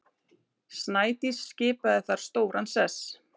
Snædís skipaði þar stóran sess.